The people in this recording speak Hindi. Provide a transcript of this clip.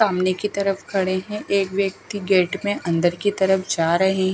सामने की तरफ खड़े हैं एक व्यक्ति गेट में अंदर की तरफ जा रहें--